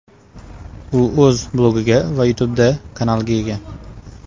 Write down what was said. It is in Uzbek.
U o‘z blogiga va YouTube’da kanaliga ega.